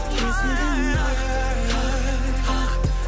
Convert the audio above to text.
есігін қақ қақ қақ